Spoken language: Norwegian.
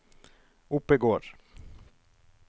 Oppegård